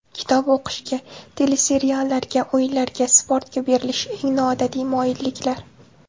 Kitob o‘qishga, teleseriallarga, o‘yinlarga, sportga berilish: eng noodatiy moyilliklar.